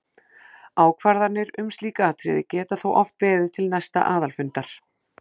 Ákvarðanir um slík atriði geta þó oft beðið til næsta aðalfundar.